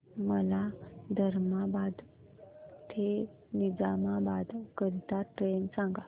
मला धर्माबाद ते निजामाबाद करीता ट्रेन सांगा